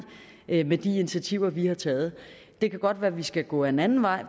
initiativer vi har taget det kan godt være at vi skal gå ad en anden vej